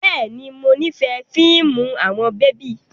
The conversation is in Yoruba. Bẹ́ẹ̀ni, mo nifẹ fiimu awọn bebi